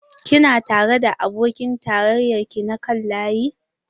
Kina tare da abokin tarayyar ki na kan layi?